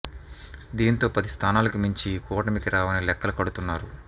దీంతో పది స్థానాలకు మించి ఈ కూటమికి రావని లెక్కలు కడుతున్నారు